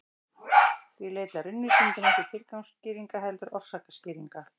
Því leita raunvísindin ekki tilgangsskýringa heldur orsakaskýringa.